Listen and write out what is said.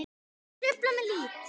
Þau trufla mig lítt.